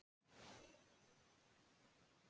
Hann er bara ekki til.